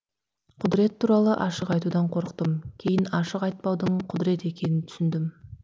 құдірет туралы ашық айтудан қорықтым кейін ашық айтпаудың құдірет екенін түсіндім